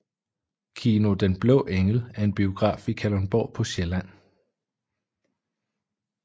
Kino Den Blå Engel er en biograf i Kalundborg på Vestsjælland